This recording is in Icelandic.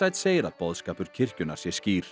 segir að boðskapur kirkjunnar sé skýr